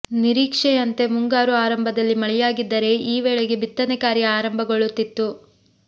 ನಿರೀಕ್ಷೆಯಂತೆ ಮುಂಗಾರು ಆರಂಭದಲ್ಲಿ ಮಳೆಯಾಗಿದ್ದರೆ ಈ ವೇಳೆಗೆ ಬಿತ್ತನೆ ಕಾರ್ಯ ಆರಂಭಗೊಳ್ಳುತ್ತಿತ್ತು